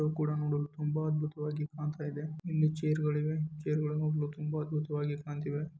ಇದು ಕೂಡ ನೋಡಲು ತುಂಬಾ ಅದ್ಭುತವಾಗಿ ಕಾಣ್ತಾ ಇದೆ ಇಲ್ಲಿ ಚೇರ್ಗಳಿವೆ ಚೇರ್ಗಳು ನೋಡಲು ತುಂಬಾ ಅದ್ಭುತವಾಗಿ ಕಾಣುತ್ತಿವೆ.